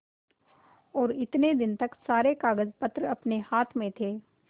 और इतने दिन तक सारे कागजपत्र अपने हाथ में थे